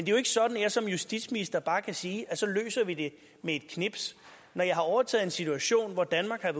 jo ikke sådan at jeg som justitsminister bare kan sige at så løser vi det med et knips når jeg har overtaget en situation hvor danmark har